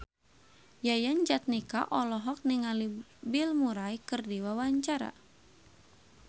Yayan Jatnika olohok ningali Bill Murray keur diwawancara